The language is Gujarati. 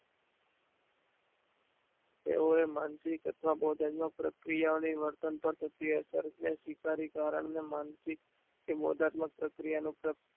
એવોએ માનસિક અથવા પ્રક્રિયા ઓ ને વર્તન પર થતી અસર ને સ્વીકારી કારણ ને માનસિક કે બૌધાત્મિક પ્રક્રિયા મુજબ